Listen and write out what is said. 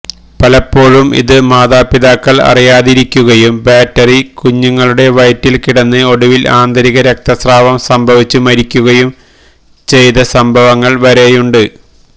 പലപ്പോഴും ഇതു മാതാപിതാക്കള് അറിയാതിരിക്കുകയും ബാറ്ററി കുഞ്ഞുങ്ങളുടെ വയറ്റില് കിടന്ന് ഒടുവില് ആന്തരികരക്തസ്രാവം സംഭവിച്ചു മരിക്കുകയും ചെയ്ത സംഭവങ്ങള് വരെയുണ്ട്